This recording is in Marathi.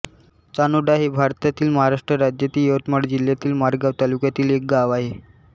चानोडा हे भारतातील महाराष्ट्र राज्यातील यवतमाळ जिल्ह्यातील मारेगांव तालुक्यातील एक गाव आहे